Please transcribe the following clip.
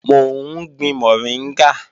Mò ń gbin mọ̀ríngà